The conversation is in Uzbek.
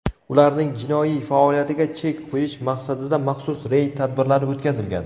ularning jinoiy faoliyatiga chek qo‘yish maqsadida maxsus reyd tadbirlari o‘tkazilgan.